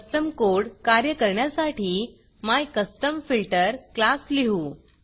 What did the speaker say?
custom code कार्य करण्यासाठी my custom filter class लिहू